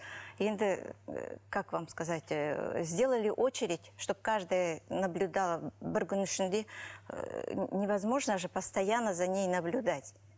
енді как вам сказать ыыы сделали очередь чтобы каждая наблюдала бір күннің ішінде ыыы невозможно же постоянно за ней наблюдать